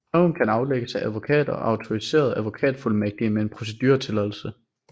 Prøven kan aflægges af advokater og autoriserede advokatfuldmægtige med en proceduretilladelse